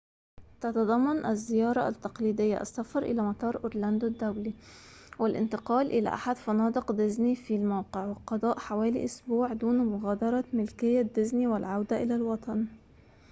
تتضمن الزيارة التقليدية السفر إلى مطار أورلاندو الدولي والانتقال إلى أحد فنادق ديزني في الموقع وقضاء حوالي أسبوع دون مغادرة ملكية ديزني والعودة إلى الوطن